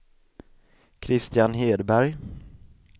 Kristian Hedberg